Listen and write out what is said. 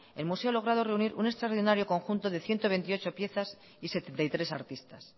el museo ha logrado un extraordinario conjunto de ciento veintiocho piezas y setenta y tres artistas